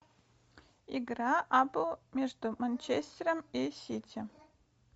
игра апл между манчестером и сити